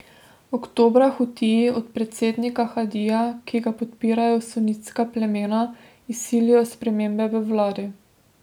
Oktobra Hutiji od predsednika Hadija, ki ga podpirajo sunitska plemena, izsilijo spremembe v vladi.